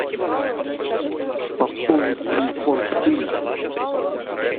пополнить телефон сына